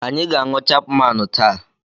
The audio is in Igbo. Anyị ga-aṅụ Chapmaanụ taa.